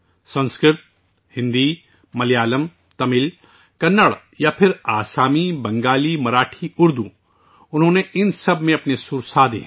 سنسکرت ہو، ہندی ہو، ملیالم ہو، تمل ہو، کنڑ ہو یا آسامی، بنگالی ہو، مراٹھی ہو، اردو ہو، ان سب میں اس نے اپنا لہجہ بنایا ہے